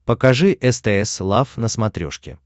покажи стс лав на смотрешке